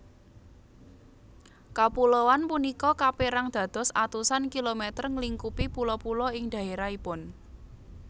Kapuloan punika kaperang dados atusan kilometer nglingkupi pulo pulo ing dhaerahipun